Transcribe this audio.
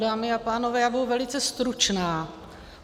Dámy a pánové, já budu velice stručná.